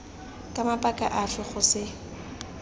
ka mabaka afe go se